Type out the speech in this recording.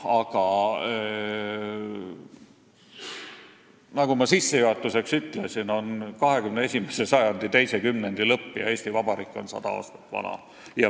Aga nagu ma sissejuhatuseks ütlesin, on 21. sajandi teise kümnendi lõpp ja Eesti Vabariik on 100 aastat vana.